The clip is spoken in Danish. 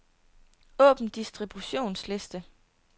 Åbn distributionsliste.